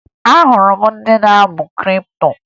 Ahụrụ ndị na-amụ kripto